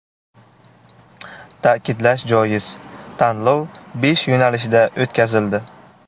Ta’kidlash joiz, tanlov besh yo‘nalishda o‘tkazildi .